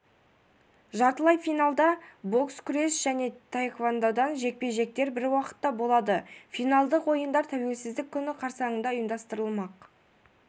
жартылай финалда бокс күрес және тхэквондодан жекпе-жектер бір уақытта болады финалдық ойындар тәуелсіздік күні қарсаңында ұйымдастырылмақ